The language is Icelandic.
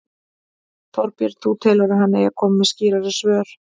Þorbjörn: Þú telur að hann eigi að koma með skýrari svör?